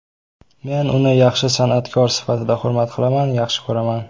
Men uni yaxshi san’atkor sifatida hurmat qilaman, yaxshi ko‘raman.